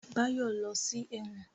Báyọ̀ lọ sí ẹ̀wọ̀n